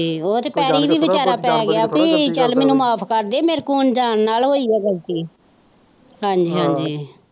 ਉਹ ਤੇ ਪੈਰੀ ਵੀ ਵਿਚਾਰਾਂ ਪੈ ਗਿਆ ਸੀ ਕੀ ਚੱਲ ਮੈਨੂੰ ਮਾਫ ਕਰਦੇ ਅਨਜਾਣ ਨਾਲ ਹੋਇ ਹੈ ਗ਼ਲਤੀ ਹਾਜੀ ਹਾਜੀ।